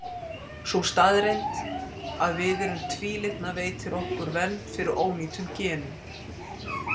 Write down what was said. Sú staðreynd að við erum tvílitna veitir okkur vernd fyrir ónýtum genum.